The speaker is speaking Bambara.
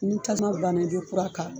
Ni tasuma banna i bɛ kura k'a kan